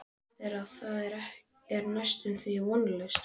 Sem þýðir að það er næstum því vonlaust.